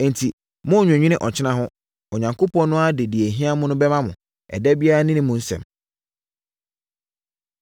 Enti, monnnwennwene ɔkyena ho. Onyankopɔn no ara de deɛ ɛhia mo bɛma mo. Ɛda biara ne mu nsɛm.